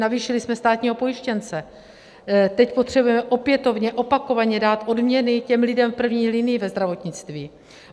Navýšili jsme státního pojištěnce, teď potřebujeme opětovně opakovaně dát odměny těm lidem v první linii ve zdravotnictví.